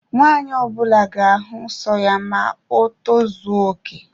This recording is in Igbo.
Nwanyi ọbula ga-ahu nsọ ya ma o tozuoke